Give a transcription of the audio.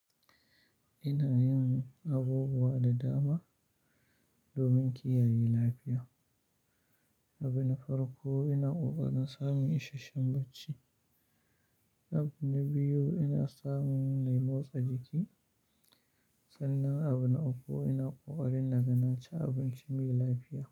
Ina yin abubuwa da dama domin kiyaye lafiya. Abu na farko ina ƙoƙarin samun isasshen bacci, abu na biyu ina samun yin motsa jiki Sannan abu na uku ina ƙoƙarin na ga na ci abinci mai lafiya.